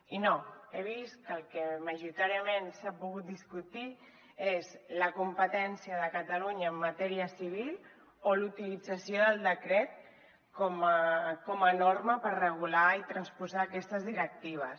i no he vist que el que majoritàriament s’ha pogut discutir és la competència de catalunya en matèria civil o la utilització del decret com a norma per regular i transposar aquestes directives